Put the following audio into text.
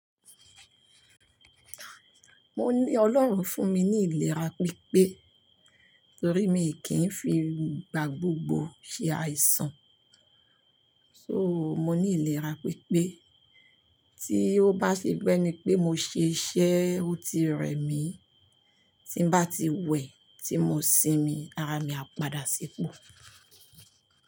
Mo ní Olóhun fún mi ní ìlera piipe, torí mi kì ń fi ìgbà gbogbo ṣe àìsàn. So, mo ní ìlera pípé, tí ó bá ṣe beni pé mo ṣe iṣẹ́ ó ti rẹ̀ mí tí ń bá ti wẹ, tí mo sinmi ara mi á padà sipò.